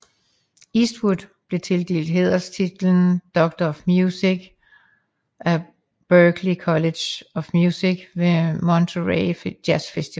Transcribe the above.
Eastwood blev tildelt hæderstitlen Doctor of Music af Berklee College of Music ved Monterey Jazz Festival